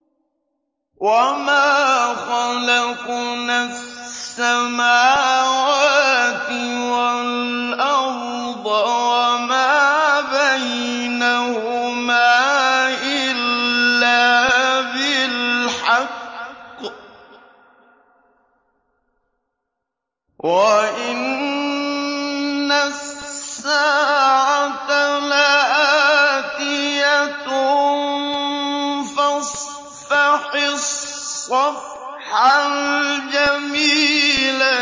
وَمَا خَلَقْنَا السَّمَاوَاتِ وَالْأَرْضَ وَمَا بَيْنَهُمَا إِلَّا بِالْحَقِّ ۗ وَإِنَّ السَّاعَةَ لَآتِيَةٌ ۖ فَاصْفَحِ الصَّفْحَ الْجَمِيلَ